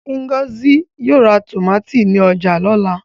Ngozi yóò ra tòmátì ní ọjà lọ́la.